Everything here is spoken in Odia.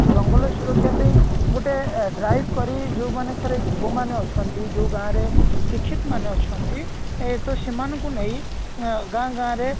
ଜଙ୍ଗଲ ସୁରକ୍ଷା ପେଇଁ ଗୋଟେ drive କରି ଯୋଉ ମାନଙ୍କରେ ଯୁବ ମାନେ ଅଛନ୍ତି ଯୋଉ ଗାଁରେ ଶିକ୍ଷିତ ମାନେ ଅଛନ୍ତି ଏ ତ ସେମାନଙ୍କୁ ନେଇ ଅ ଗାଁ ଗାଁ ରେ